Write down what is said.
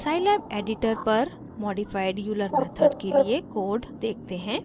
scilab editor पर modified euler method के लिए कोड टाइप देखते हैं